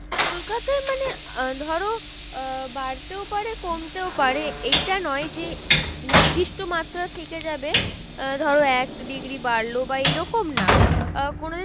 কলকাতায় মানে আহ ধরো আহ বাড়তেও পারে কমতেও পারে এইটা নয় যে নিদিষ্ট মাত্রায় থেকে যাবে আহ ধরো এক degree বাড়লো বা এইরকম না আহ কোনো দিন